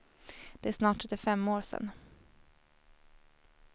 Det är snart trettiofem år sen.